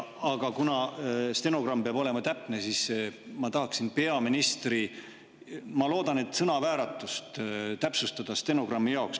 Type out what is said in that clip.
Aga kuna stenogramm peab olema täpne, siis ma tahaksin peaministri öeldut – ma loodan, et sõnavääratust – täpsustada stenogrammi jaoks.